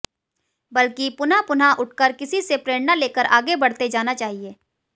बल्कि पुनः पुनः उठकर किसी से प्रेरणा लेकर आगे बढ़ते जाना चाहिए